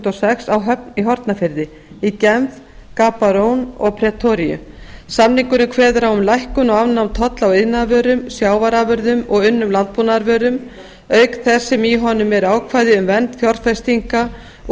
og sex á höfn í hornafirði í genf gabarone og pretoríu samningurinn kveður á um lækkun og afnám tolla á iðnaðarvörum sjávarafurðum og unnum landbúnaðarvörum auk þess sem í honum eru ákvæði um vernd fjárfestinga og